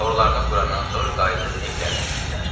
Torlarını qurandan sonra qayıdıb evlərinə getdilər.